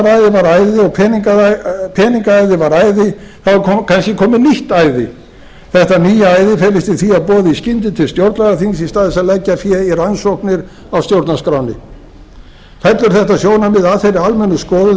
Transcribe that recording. og útrásaræðið og peningaæðið þá er kannski komið nýtt æði þetta nýja æði felist í því að boða í skyndi til stjórnlagaþings í stað þess að leggja fé í rannsóknir á stjórnarskránni fellur þetta sjónarmið að þeirri almennu skoðun